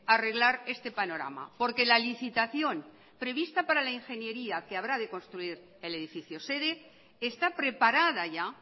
arreglar este panorama porque la licitación prevista para la ingeniería que habrá que construir el edificio sede está preparada ya